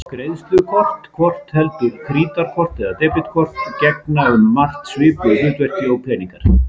Greiðslukort, hvort heldur krítarkort eða debetkort, gegna um margt svipuðu hlutverki og peningar.